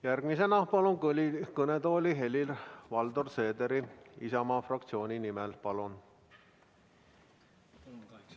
Järgmisena palun kõnetooli Helir-Valdor Seederi Isamaa fraktsiooni esindajana.